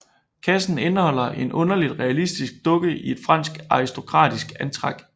Kassen indeholder en underligt realistisk dukke i et fransk aristokratisk antræk